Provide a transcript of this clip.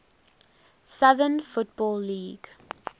southern football league